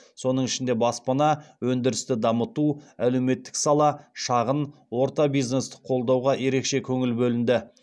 соның ішінде баспана өндірісті дамыту әлеуметтік сала шағын орта бизнесті қолдауға ерекше көңіл бөлінді